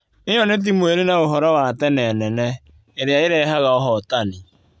ĩyo nĩ timu irĩ na úhoro wa tene nene, ĩrĩa ĩrehaga ũhotani.